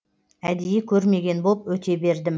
әдейі көрмеген боп өте бердім